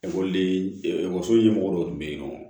Ekɔliden ekɔliso ɲɛmɔgɔ dɔw tun bɛ yen nɔ